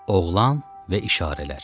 Oğlan və işarələr.